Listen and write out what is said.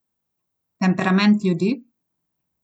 Temperament ljudi?